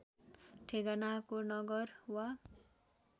ठेगानाको नगर वा